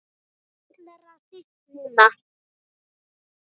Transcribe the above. Allra síst núna.